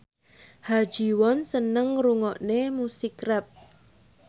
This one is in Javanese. Ha Ji Won seneng ngrungokne musik rap